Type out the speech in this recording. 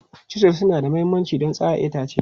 Chisels suna da mahimmanci don tsara itace.